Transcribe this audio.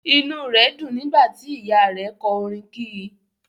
Inú rẹ dùn nígbà tí Ìyáa rẹ̀ kọ orin kì í.